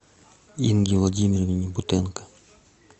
инге владимировне бутенко